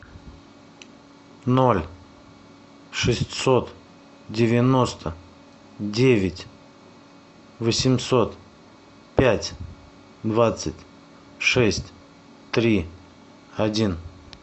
ноль шестьсот девяносто девять восемьсот пять двадцать шесть три один